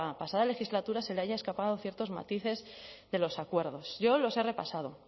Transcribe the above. pasada legislatura se le hayan escapado ciertos matices de los acuerdos yo los he repasado